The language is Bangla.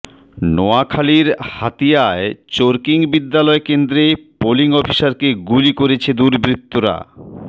নোয়াখালীর হাতিয়ায় চরকিং বিদ্যালয় কেন্দ্রে পোলিং অফিসারকে গুলি করেছে দুর্বৃত্তরা